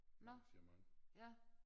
Arrangement